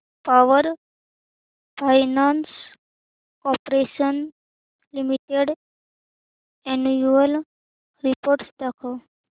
power finance corporation limited annual report दाखव